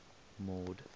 mord